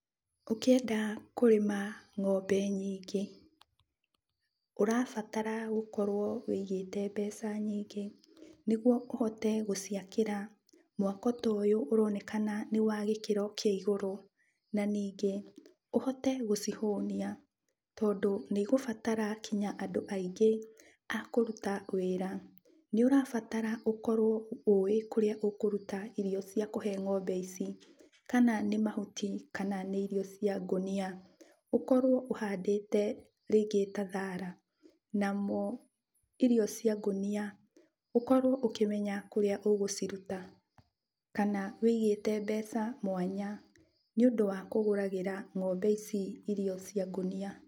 Ũkĩenda kũrĩma ng'ombe nyingĩ, ũrabatara gũkorwo wĩigĩte mbeca nyingĩ, nĩguo ũhote gũciakĩra mwako ta ũyũ ũronekana nĩ wa gĩkĩro kĩa igũrũ. Na ningĩ ũhote gũcihũnia, tondũ nĩigũbatara kinya andũ aingĩ a kũruta wĩra. Nĩũrabatara ũkorwo ũĩ kũrĩa ũkũruta irio cia kũhe ng'ombe ici. Kana nĩ mhuti kana nĩ irio cia ngũnia, ũkorwo ũhandĩte rĩngĩ ta thara. Nacio irio cia ngũnia, ũkũrwo ũkĩmenya kũrĩa ũgũciruta, kana wĩigĩte mbeca mwanya nĩũndũ wa kũgũragĩra ng'ombe ici irio cia ngũnia.